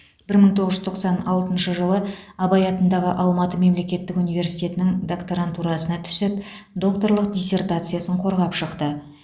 бір мың тоғыз жүз тоқсан алтыншы жылы абай атындағы алматы мемлекеттік университетінің докторантурасына түсіп докторлық диссертациясын қорғап шықты